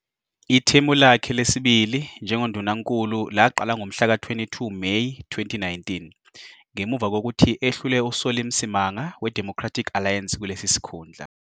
Ithemu lakhe lesibili njengoNdunankulu laqala ngomhlaka 22 Meyi 2019, ngemuva kokuthi ehlule uSolly Msimanga weDemocratic Alliance kulesi sikhundla.